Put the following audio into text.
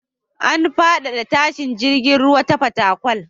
An faɗaɗa tashan jiragen ruwa ta Fatakwal.